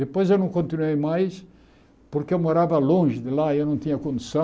Depois eu não continuei mais porque eu morava longe de lá e eu não tinha condição